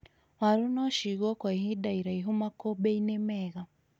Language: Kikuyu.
Warũ nocigwo kwa ihinda iraihu makũmbĩ-inĩ mega